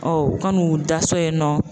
Ɔn, u ka n'u da so yen nɔ